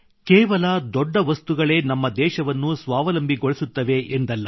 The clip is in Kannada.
ಕೇವಲ ದೊಡ್ಡ ವಸ್ತುಗಳೇ ನಮ್ಮ ದೇಶವನ್ನು ಸ್ವಾವಲಂಬಿಗೊಳಿಸುತ್ತವೆ ಎಂದಲ್ಲ